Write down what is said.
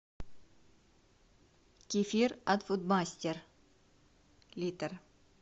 кефир от фудмастер литр